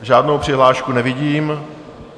Žádnou přihlášku nevidím.